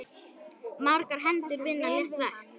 Margar hendur vinna létt verk!